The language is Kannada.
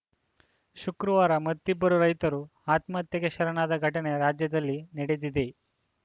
ಶುಕ್ರವಾರ ಮತ್ತಿಬ್ಬರು ರೈತರು ಆತ್ಮಹತ್ಯೆಗೆ ಶರಣಾದ ಘಟನೆ ರಾಜ್ಯದಲ್ಲಿ ನಡೆದಿದೆ